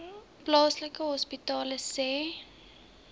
plaaslike hospitale sê